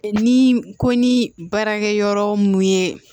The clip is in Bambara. Ni ko ni baarakɛyɔrɔ mun ye